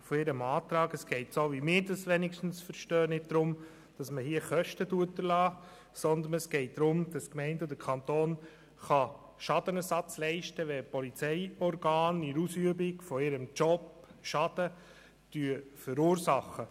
Gemäss meinem Verständnis geht es hier nicht darum, Kosten zu erlassen, sondern darum, dass die Gemeinde oder der Kanton Schadenersatz leisten kann, wenn die Polizeiorgane in der Ausübung ihres Jobs Schaden verursachen.